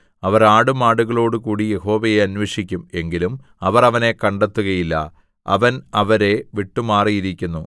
അവർ ആടുമാടുകളോടുകൂടി യഹോവയെ അന്വേഷിക്കും എങ്കിലും അവർ അവനെ കണ്ടെത്തുകയില്ല അവൻ അവരെ വിട്ടുമാറിയിരിക്കുന്നു